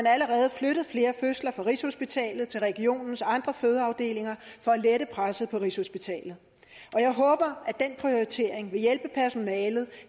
allerede har flyttet flere fødsler fra rigshospitalet til regionens andre fødeafdelinger for at lette presset på rigshospitalet og jeg håber at den prioritering vil hjælpe personalet